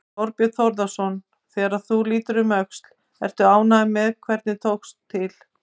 Þorbjörn Þórðarson: Þegar þú lítur um öxl, ert þú ánægður með hvernig til tókst?